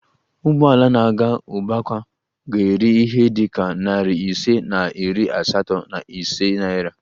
Ụgbọ ala na-aga ugbakwa ga-eri ihe dị ka nari ise na iri asatọ na ise naira